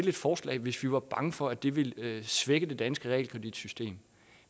et forslag hvis vi var bange for at det ville svække det danske realkreditsystem